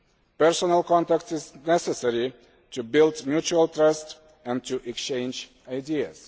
Personal contact is necessary to build mutual trust and to exchange ideas.